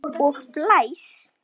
Og blæs.